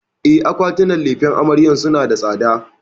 E, akwatunan lefen amaryar suna da tsada.